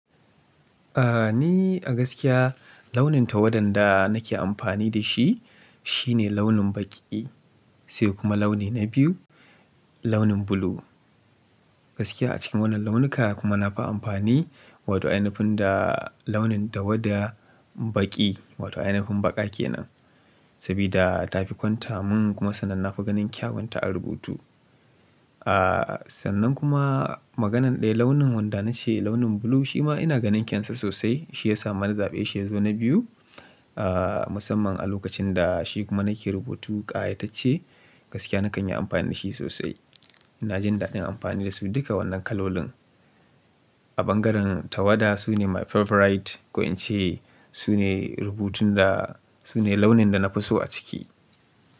Aaa, ni a gaskiya launin tawadan da nake amfani da shi shine launin baƙi, sai kuma launi na biyu launin blue. Gaskiya a cikin wannan launuka kuma nafi amfani wato ainafin da launin tawada baƙi wato ainifin baƙa ke nan. Sabida ta fi kwanta mun kuma sannan nafi ganin kyawunta a rubutu. Aaa, sannan kuma maganan ɗaya launin wanda na ce launin blue shi ma ina ganin kyansa sosai. Shi ya sa mana zaɓe shiyazu na biyu, aa, musamman a lokacin da shi kuma nake rubutu ƙayatacce gaskiya na kan yi amfani da shi sosai. Na jin daɗin amfani da su duka wannan kalolin. A ɓangaren tawada sune my favorite ko in ce sune rubutun da sune launin da na fi so a ciki.